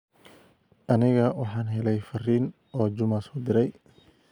aniga waxaan helay fariin oo juma soo direy